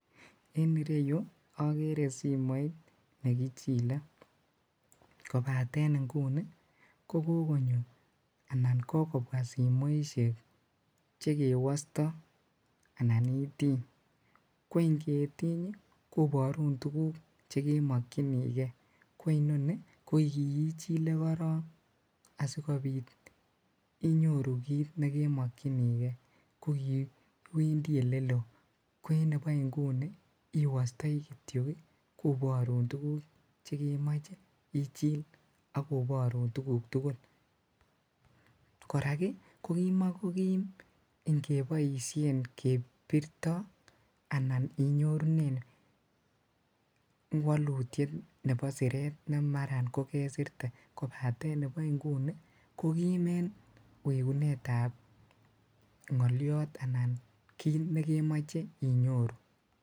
En ireyu okere simoit nekichile kobaten ingunii ko kokonyo anan ko kobwa simoishek chekewosto anan itiiny, ko ing'etiiny koborun tukuk chekemokyinike ko inoni ko ichile korong asikobit inyoru kiit nekemokyinike ko iwendi eleloo, ko en nebo inguni iwostoi kityok koborun tukuk chekemoche ichil ak koborun tukuk tukul, korak ko kimokokim ing'eboishen kebirto anan inyorunen wolutiet nebo sireet nemaran kokesirte kobaten nibo ing'unii kokiim en wekunetab ng'oliot anan kiit nekemoche inyoru.